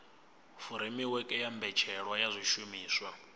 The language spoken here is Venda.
furemiweke ya mbetshelwa ya zwishumiswa